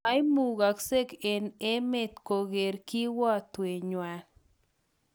Moimukoksek eng emet koker kiwotwet nywan.